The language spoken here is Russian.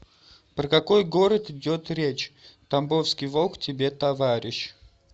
про какой город идет речь тамбовский волк тебе товарищ